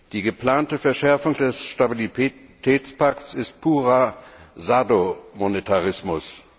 Die geplante Verschärfung des Stabilitätspakts ist purer Sado Monetarismus.